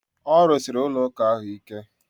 A rụsiri ụlọ ụka ahụ ike